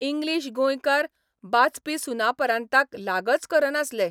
English गोंयकार 'बाचपी सुनापरान्ताक लागच करनासले.